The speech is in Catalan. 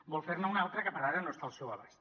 vol fer ne una altra que per ara no està al seu abast